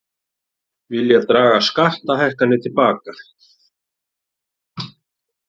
Vilja draga skattahækkanir til baka